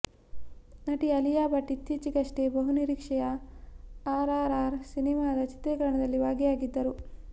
ನಟಿ ಅಲಿಯಾ ಭಟ್ ಇತ್ತೀಚಿಗಷ್ಟೆ ಬಹುನಿರೀಕ್ಷೆಯ ಆರ್ ಆರ್ ಆರ್ ಸಿನಿಮಾದ ಚಿತ್ರೀಕರಣದಲ್ಲಿ ಭಾಗಿಯಾಗಿದ್ದರು